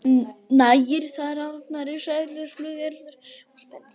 Nægir þar að nefna risaeðlur, flugeðlur og spendýr.